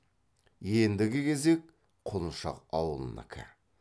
ендігі кезек құлыншақ ауылынікі